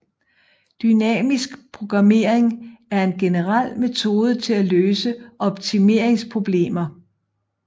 Dynamisk programmering er en generel metode til at løse optimeringsproblemer